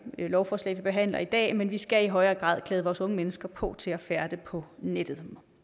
lovforslag vi behandler i dag men vi skal i højere grad klæde vores unge mennesker på til at færdes på nettet